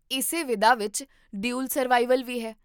ਇਸੇ ਵਿਧਾ ਵਿੱਚ 'ਡਿਊਲ ਸਰਵਾਈਵਲ' ਵੀ ਹੈ